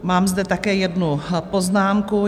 Mám zde také jednu poznámku.